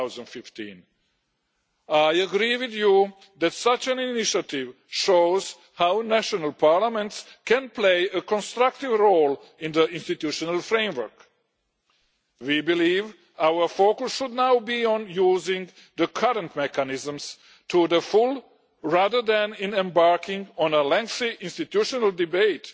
2015. I agree with you that such an initiative shows how national parliaments can play a constructive role in the institutional framework. We believe our focus should now be on using the current mechanisms to the full, rather than embarking on a lengthy institutional debate